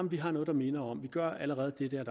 vi har noget der minder om det vi gør allerede det der er